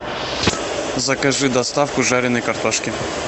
закажи доставку жареной картошки